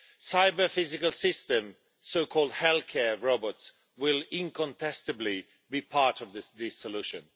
Cyber physical systems so called healthcare robots, will incontestably be part of this solution.